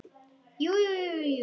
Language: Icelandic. Jú jú, jú jú.